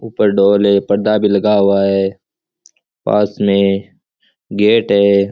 ऊपर ढोल है पर्दा भी लगा हुआ है पास में गेट है।